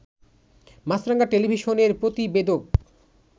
মাছরাঙা টেলিভিশনের প্রতিবেদক